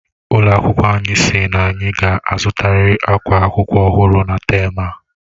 Ụlọ akwụkwọ anyi sị n'anyi ga azutariri akwa akwụkwọ ọhụrụ na tem a..